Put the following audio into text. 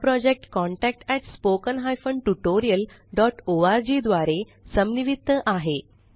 हा project contactspoken tutorialorg द्वारे समन्वित आहे